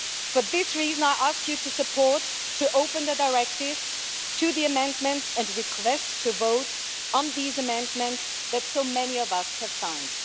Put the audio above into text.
For this reason, I ask for your support to open the Directive to the amendments and request a vote on these amendments that so many of us have signed.